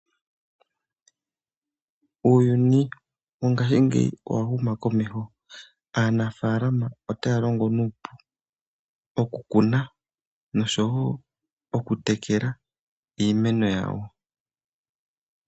Uuyuni wongaashingeyi owa huma komeho . Aanafalama otaya longo nuupu okukuna noshowo okutekela iimeno yawo.